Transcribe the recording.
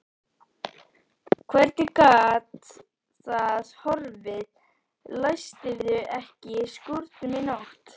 Hvernig gat það horfið, læstirðu ekki skúrnum í nótt?